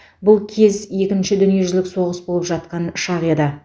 бұл кез екінші дүниежүзілік соғыс болып жатқан шақ еді